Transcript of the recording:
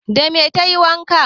Dame tayi wankan?